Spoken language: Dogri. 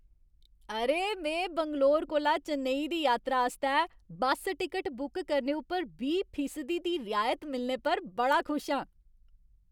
अरे! में बैंगलोर कोला चेन्नई दी यात्रा आस्तै बस्स टिकट बुक करने उप्पर बीह् फीसदी दी रियायत मिलने पर बड़ा खुश आं।